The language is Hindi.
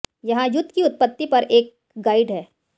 यहां युद्ध की उत्पत्ति पर एक गाइड है